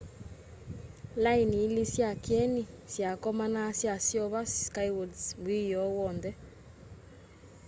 laini ili sya kyeni syakomana syaseuvya skywards wioo wonthe